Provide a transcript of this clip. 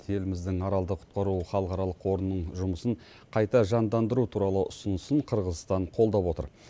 еліміздің аралды құтқару халықаралық қорының жұмысын қайта жандандыру туралы ұсынысын қырғызстан қолдап отыр